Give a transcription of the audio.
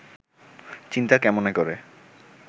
চিন্তা কেমনে করে